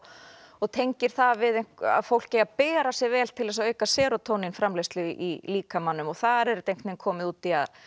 og tengir það við að fólk eigi að bera sig vel til að auka serótónín framleiðslu í líkamanum þar er þetta komið út í að